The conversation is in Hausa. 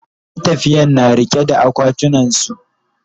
matafiyan na riƙe da akwatunan su